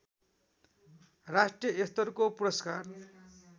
राष्ट्रियस्तरको पुरस्कार